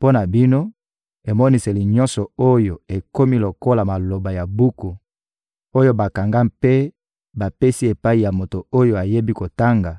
Mpo na bino, emoniseli nyonso oyo ekomi lokola maloba ya buku oyo bakanga mpe bapesi epai ya moto oyo ayebi kotanga,